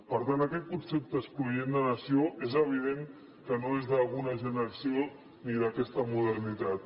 per tant aquest concepte excloent de nació és evident que no és d’alguna generació ni d’aquesta modernitat